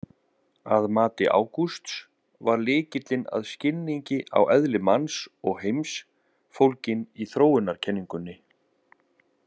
Að mati Ágústs var lykilinn að skilningi á eðli manns og heims fólginn í þróunarkenningunni.